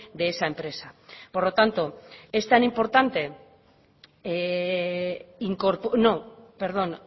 de esa empresa por lo tanto es tan importante no perdón